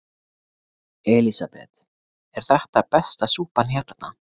Elísabet: Er þetta besta súpan hérna?